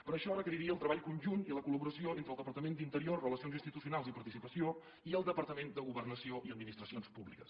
però això requeriria el treball conjunt i la col·laboració entre el departament d’interior relacions institucionals i participació i el departament de governació i administracions públiques